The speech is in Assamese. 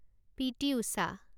পি.টি. উষা